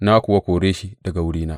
Na kuwa kore shi daga wurina.